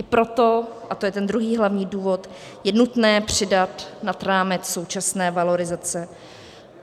I proto, a to je ten druhý hlavní důvod, je nutné přidat nad rámec současné valorizace.